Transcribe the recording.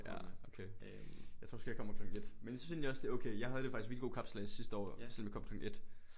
Ja okay jeg tror måske jeg kommer klokken 1 men jeg synes egentlig også det er okay jeg havde det faktisk også virkelig god kapsejlads sidste år selvom jeg kom klokken 1